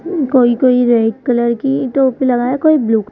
कोई कोई red colour की टोपी लगाया कोई ब्लू ।